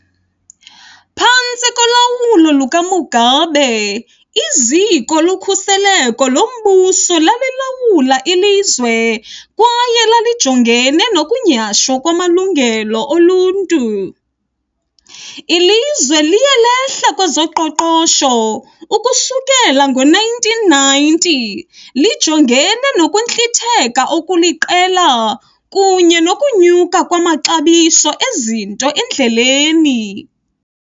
Phantsi kolawulo lukaMugabe, iziko lokhuseleko lombuso lalilawula ilizwe kwaye lalijongene nokunyhashwa kwamalungelo oluntu. Ilizwe liye lehla kwezoqoqosho ukusukela ngoo-1990, lijongene nokuntlitheka okuliqela kunye nokunyuka kwamaxabiso ezinto endleleni.